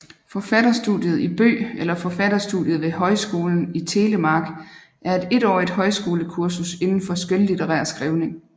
Forfatterstudiet i Bø eller Forfatterstudiet ved Høgskolen i Telemark er et etårigt højskolekurs indenfor skønlitterær skriving